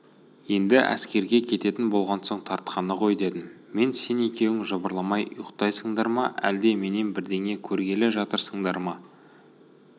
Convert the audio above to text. енді әскерге кететін болған соң тартқаны ғой дедім мен сен екеуің жыбырламай ұйықтайсыңдар ма әлде менен бірдеңе көргелі жатырсыңдар ма